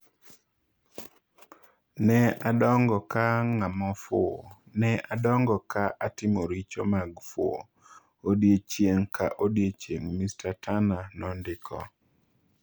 'Ne adongo ka ng'ama fuwo, ne adongo ka atimo richo mag fuwo, odiechieng' ka odiechieng','' Mr Turner nondiko.